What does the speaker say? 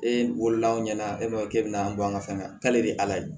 E wolola anw ɲɛna e ma k'e bɛna bɔ an ka fɛn na k'ale de ala ye